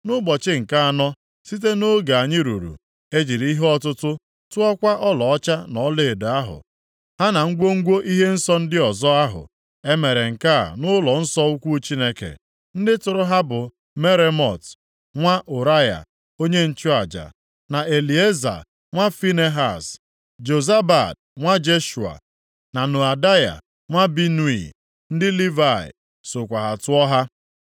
Nʼụbọchị nke anọ, site nʼoge anyị ruru, e jiri ihe ọtụtụ tụọkwa ọlaọcha na ọlaedo ahụ, ha na ngwongwo ihe nsọ ndị ọzọ ahụ. E mere nke a nʼụlọnsọ ukwu Chineke. Ndị tụrụ ha bụ Meremot nwa Ụraya onye nchụaja, na Elieza nwa Finehaz. Jozabad nwa Jeshua, na Noadaya nwa Binui, ndị Livayị, sokwa tụọ ha.